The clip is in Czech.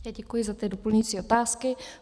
Já děkuji za ty doplňující otázky.